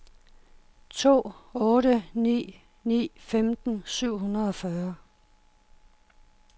to otte ni ni femten syv hundrede og fyrre